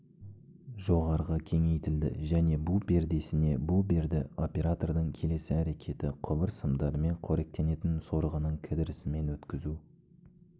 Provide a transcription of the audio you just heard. жоғарыға кеңейтілді және бу пердесіне бу берді оператордың келесі әрекеті құбыр сымдарымен қоректенетін сорғының кідірісімен өткізу